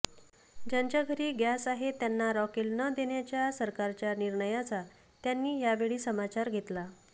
ज्यांच्या घरी गॅस आहे त्यांना रॉकेल न देण्याच्या सरकारच्या निर्णयाचा त्यांनी यावेळी समाचार घेतला